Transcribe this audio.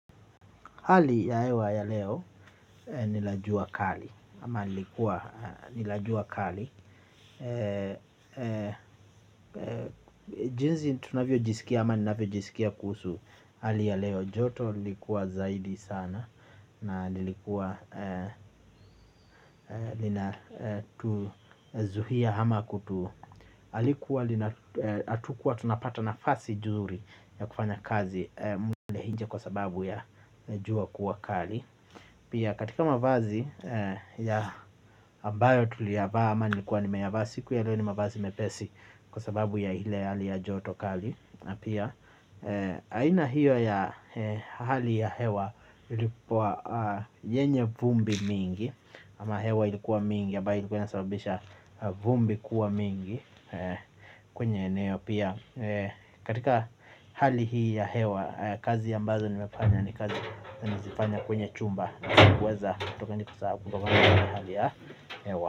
Hali ya hewa ya leo nila jua kali ama lilikua, la jua kali. Jinsi tunavyojisikia ama ninavyojisikia kuhusu hali ya leo. Joto lilikuwa zaidi sana. Na lilikuwa linatuzuia ama kutu halikuwa lina hatukuwa tunapata nafasi nzuri ya kufanya kazi ya nje kwa sababu ya jua kuwa kali. Pia katika mavazi ambayo tuliyavaa ama nilikuwa nimeyavaa. Siku ya leo ni mavazi mepesi, kwa sababu ya ile hali ya joto kali, na pia aina hiyo ya hali ya hewa ilikua yenye vumbi mingi. Ama hewa ilikuwa mingi ambayo ilikuwa inasababisha vumbi kuwa mingi kwenye eneo pia. Katika hali hii ya hewa kazi ambazo nimefanya ni kazi nazifanya kwenye chumba na sikuweza kutoka ni kwa sababu kutoka kwa hali ya hewa.